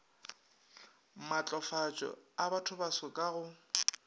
matlafatšo a bathobaso ka go